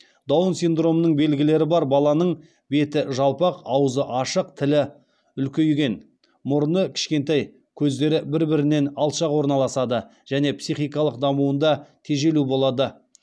даун синдромының белгілері бар баланың беті жалпақ аузы ашық тілі үлкейген мұрны кішкентай көздері бір бірінен алшақ орналасады және психикалық дамуында тежелу болады